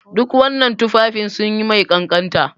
Duk wannan tufafin sun yi mai kanƙanta.